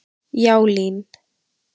Já, LÍN.